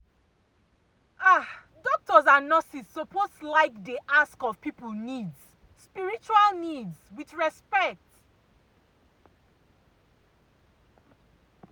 ah doctors and nurses suppose like dey ask of people needs spiritual needs with respect.